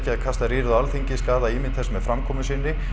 að kasta rýrð á Alþingi skaða ímynd þess með framkomu sinni